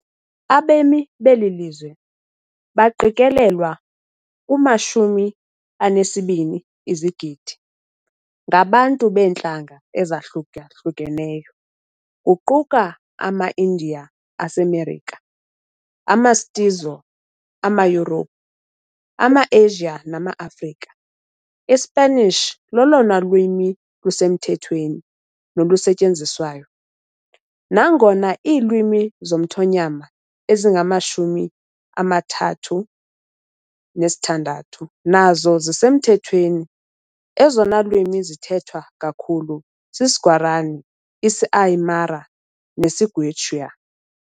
Abemi beli lizwe, baqikelelwa kwi-12 izigidi, ngabantu beentlanga ezahlukahlukeneyo, kuquka amaIndiya aseMerika, amaMestizo, amaYurophu, amaAsia namaAfrika. ISpanish lolona lwimi lusemthethweni nolusetyenziswayo, nangona iilwimi zomthonyama ezingama-36 nazo zisemthethweni, ezona lwimi zithethwa kakhulu sisiGuarani, isiAymara nesiQuechua.